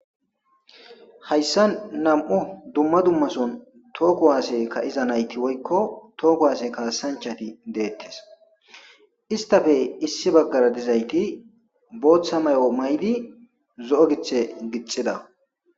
hayssa nam7u dumma dummason tooko waase ka7iza nayti woykko too kuwaase kaasanchati deettes istafe issi baggara dizayti booththa may7o maydi zo7o giththe gixxida